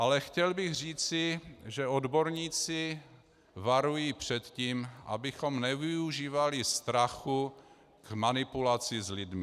Ale chtěl bych říci, že odborníci varují před tím, abychom nevyužívali strachu k manipulaci s lidmi.